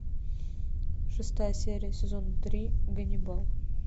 шестая серия сезона три ганнибал